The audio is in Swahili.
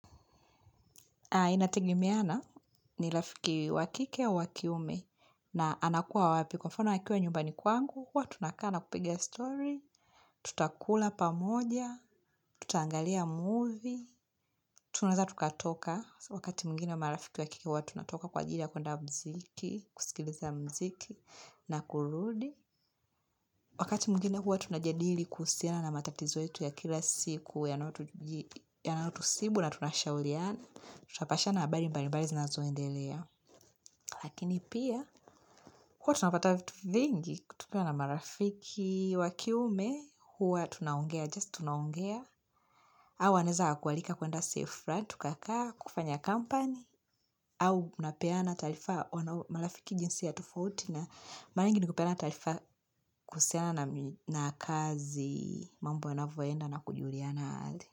Inatengemea na ni rafiki wa kike au wa kiume na anakua wapi kwa mfano akiwa nyumbani kwangu, huwa tunakaa na kupiga story, tutakula pamoja, tuta angalia movie, tunazewa tukatoka wakati mwingine marafiki wakike huwa tunatoka kwa ajili ya kuenda mziki, kusikiliza mziki na kurudi. Wakati mwingine huwa tunajadili kuhusiana na matatizo yetu ya kila siku yanayotusibu na tunashauliana, tutapashana habari mbali mbali zinazoendelea. Lakini pia, huwa tunapata vingi, kutokana na marafiki wa kiume, huwa tunaongea, just tunaongea. Au wanaweza wakakualika kuenda sehemu fulani, tukakaa, kufanya company, au mnapeana taarifa wanao marafiki jinsi ya tofauti na mara nyingi ni kupena taarifa kuhusiana na kazi mambo yanavoenda na kujuliana hali.